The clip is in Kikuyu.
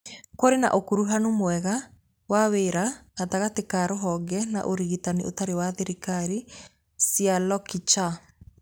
Kũrĩ na ũkuruhanu mwega wa wĩra gatagatĩ ka rũhonge na Ũtungata Ũtarĩ wa Thirikari (NGOs) cia Lokichar.